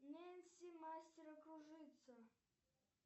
нэнси мастера кружится